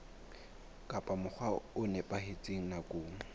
ka mokgwa o nepahetseng nakong